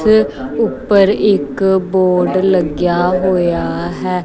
ਤੇ ਉੱਪਰ ਇੱਕ ਬੋਰਡ ਲੱਗਿਆ ਹੋਇਆ ਹੈ।